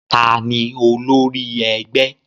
Ta ni olórí ẹgbẹ́?